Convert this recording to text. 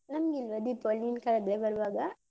ನಮ್ಗಿಲ್ವಾ ದೀಪಾವಳಿ ನೀನ್ ಕರೆದ್ರೆ ಬರುವಾಗ.